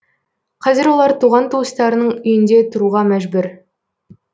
қазір олар туған туыстарының үйінде тұруға мәжүр